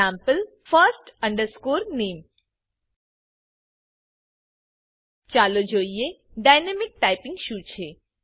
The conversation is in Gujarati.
Ex first name ચાલોજોઈએ ડાયનેમિક ટાઇપિંગ શું છે